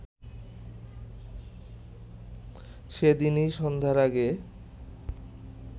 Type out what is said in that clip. সেদিনই সন্ধ্যার আগে